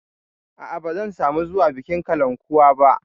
A'a, ba zan samu zuwa bikin kalankuwa ba.